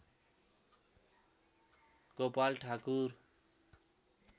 Gopal Thakur